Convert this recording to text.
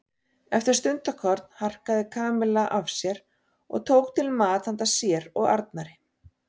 Eftir stundarkorn harkaði Kamilla af sér og tók til mat handa sér og Arnari.